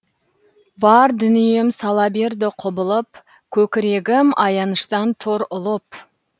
бар дүнием сала берді құбылып көкірегім аяныштан тұр ұлып